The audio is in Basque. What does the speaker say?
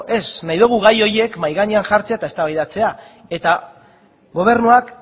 ez nahi dugu gai horiek mahai gainean jartzea eta eztabaidatzea eta gobernuak